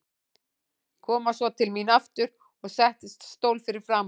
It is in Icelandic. Kom svo til mín aftur og settist á stól fyrir framan mig.